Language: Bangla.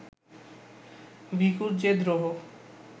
ভিখুর যে দ্রোহ